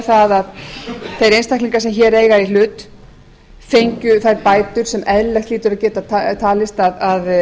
að þeir einstaklingar sem hér eiga í hlut fengju þær bætur sem eðlilegt hlýtur að geta talist að